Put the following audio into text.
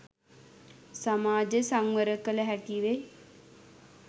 සමාජය සංවර කළ හැකිවෙයි.